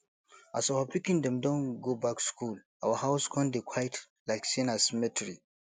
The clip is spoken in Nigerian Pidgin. as our pikin dem don go back school our house con dey quiet like sey na cemetery